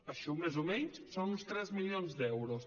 això més o menys són uns tres milions d’euros